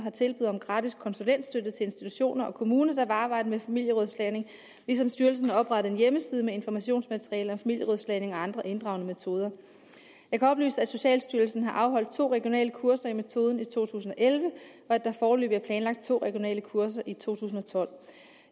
er et tilbud om gratis konsulentstøtte til institutioner og kommuner der vil arbejde med familierådslagning ligesom styrelsen har oprettet en hjemmeside med informationsmateriale om familierådslagning og andre inddragende metoder jeg kan oplyse at socialstyrelsen har afholdt to regionale kurser i metoden i to tusind og elleve og at der foreløbig er planlagt to regionale kurser i to tusind og tolv